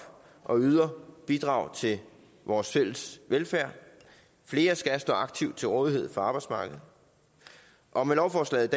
og yder bidrag til vores fælles velfærd flere skal stå aktivt til rådighed for arbejdsmarkedet og med lovforslaget